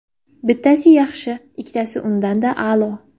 Bittasi yaxshi, ikkitasi undan-da a’lo!